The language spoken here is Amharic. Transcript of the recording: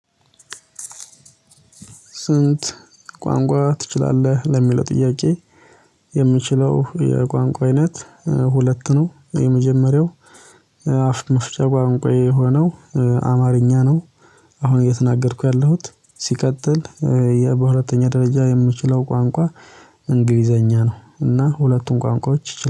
ስንት ቋንቋ ትችላለህ ለሚለው ጥያቄ? የምችለው የቋንቋ አይነት ሁለት ነው የመጀመሪያው አፍ መፍቻ ቋንቋ የሆነው አማርኛ ነው። አሁን እየተናገርኩ ያለሁት ሲቀጥል በሁለተኛ ደረጃ የምችለው ቋንቋ እንግሊዘኛ ነው። እና ሁለቱም ቋንቋዎች